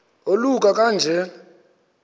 oluka ka njl